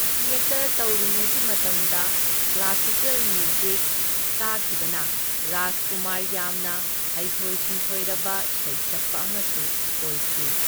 Theatre ꯇꯧꯔꯤꯉꯩꯒꯤ ꯃꯇꯝꯗ classical music ꯇꯥꯈꯤꯕꯅ ꯔꯥꯖꯀꯨꯃꯥꯔ ꯌꯥꯝꯅ ꯍꯩꯊꯣꯏ ꯁꯤꯡꯊꯣꯏꯔꯕ ꯁꯩꯁꯛꯄ ꯑꯃꯁꯨ ꯑꯣꯏꯈꯤ꯫